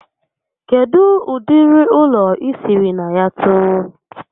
Kedụ ụdịrị ụlọ I sịrị na ya too?